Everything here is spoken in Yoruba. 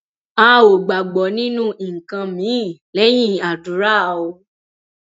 a ò gbàgbọ nínú nǹkan miín lẹyìn àdúrà o